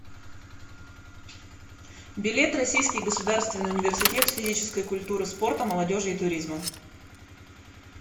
билет российский государственный университет физической культуры спорта молодежи и туризма